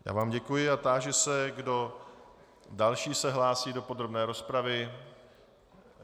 Já vám děkuji a táži se, kdo další se hlásí do podrobné rozpravy.